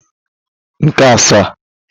nke asaa